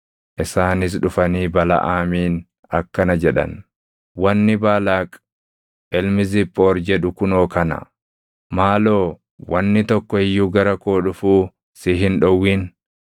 Isaanis dhufanii Balaʼaamiin akkana jedhan: “Wanni Baalaaq ilmi Ziphoori jedhu kunoo kana: ‘Maaloo wanni tokko iyyuu gara koo dhufuu si hin dhowwin;